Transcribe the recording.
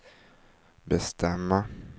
bestämma